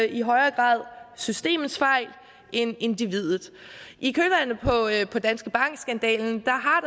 i højere grad systemets fejl end individets i kølvandet på danske bank skandalen